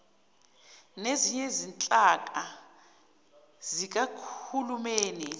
nezinye izinhlaka zikahulumeni